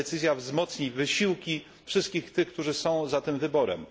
Decyzja ta wzmocni wysiłki wszystkich tych, którzy są za tym wyborem.